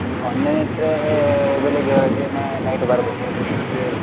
ಒಂದಿನ ಇಟ್ರೆ ಬೆಳಿಗ್ಗೆ ಹೊರಟೆ ನ~ night ಬರ್ಬೇಕಾಗ್ತದೆ .